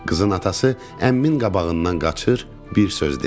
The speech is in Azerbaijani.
Qızın atası əmimin qabağından qaçır, bir söz demir.